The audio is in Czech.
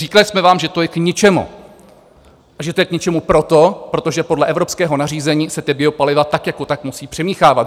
Říkali jsme vám, že to je k ničemu a že to je k ničemu proto, protože podle evropského nařízení se ta biopaliva tak jako tak musí přimíchávat.